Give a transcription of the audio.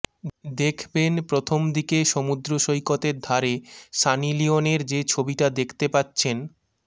দেখবেন প্রথম দিকে সমুদ্র সৈকতের ধারে সানি লিওনের যে ছবিটা দেখতে পাচ্ছেন